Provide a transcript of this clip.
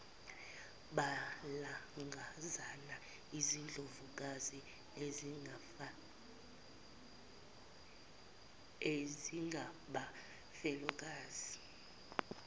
nolangazana izindlovukazi ezingabafelokazi